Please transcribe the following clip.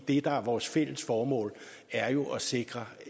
det der er vores fælles formål er jo at sikre